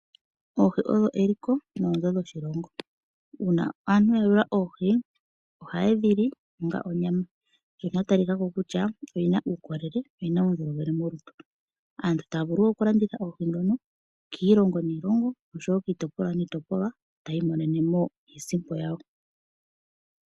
Oohi odho eliko, noonzo dhoshilongo. Uuna aantu ya ye wula oohi. Oha ye dhi li onga onyama. Ano dha tali wa ko kutya odhina uukolele, odhina uundjolowele molutu. Aantu otaya vulu oku landitha oohi dhono, kiilongo niilongo osho woo kiitopolwa niitopolwa ,taya imonene mo iisipo yawo .